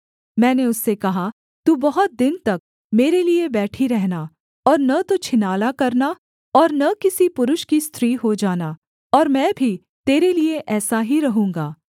मैंने उससे कहा तू बहुत दिन तक मेरे लिये बैठी रहना और न तो छिनाला करना और न किसी पुरुष की स्त्री हो जाना और मैं भी तेरे लिये ऐसा ही रहूँगा